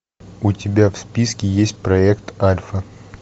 у тебя в списке есть проект альфа